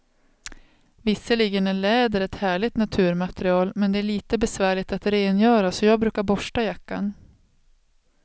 Visserligen är läder ett härligt naturmaterial, men det är lite besvärligt att rengöra, så jag brukar borsta jackan.